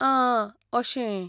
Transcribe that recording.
आं, अशें.